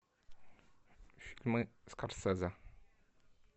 фильмы скорсезе